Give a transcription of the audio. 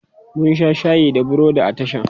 mun Sha shayi da burodi a tashan